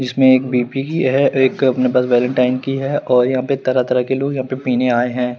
इसमें एक बी_पी की है और एक अपने पास वेलेंटाइन की हैं और यहां पे तरह तरह के लोग यह पे पिनेआये है।